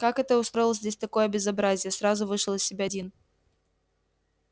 кто это устроил здесь такое безобразие сразу вышел из себя дин